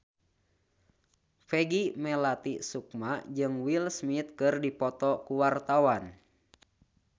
Peggy Melati Sukma jeung Will Smith keur dipoto ku wartawan